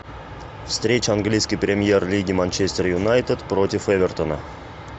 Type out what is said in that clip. встреча английской премьер лиги манчестер юнайтед против эвертона